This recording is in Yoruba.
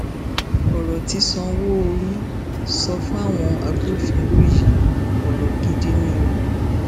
ọrọ tí sanwóoru sọ fáwọn agbófinró yìí ọrọ gidi ni o